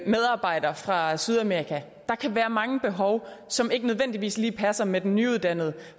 medarbejder fra sydamerika der kan være mange behov som ikke nødvendigvis lige passer med den nyuddannede